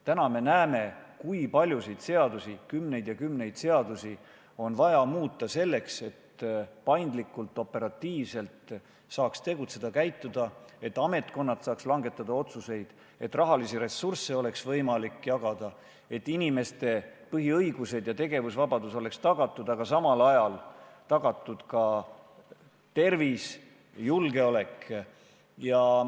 Praegu me näeme, kui paljusid seadusi – kümneid ja kümneid seadusi – on vaja muuta selleks, et saaksime tegutseda paindlikult ja operatiivselt, ametkonnad saaksid langetada otsuseid, võimalik oleks jagada rahalisi ressursse ning inimeste põhiõigused ja tegevusvabadus oleks tagatud, aga samal ajal oleks tagatud ka tervis ja julgeolek.